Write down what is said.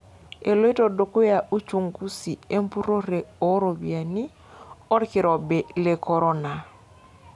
Eloito dukuya uchunguzi empurore oo ropiyiani olkirobi le Korona.